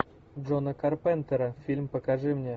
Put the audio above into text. джона карпентера фильм покажи мне